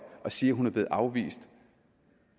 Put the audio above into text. og sige at hun blev afvist